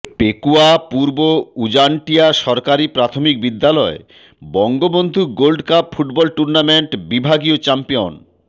পেকুয়া পূর্ব উজানটিয়া সরকারী প্রাথমিক বিদ্যালয় বঙ্গবন্ধু গোল্ডকাপ ফুটবল টুর্ণামেন্ট বিভাগীয় চ্যাম্পিয়ন